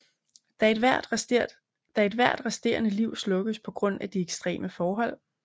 Da vil ethvert resterende liv slukkes på grund af de ekstreme forhold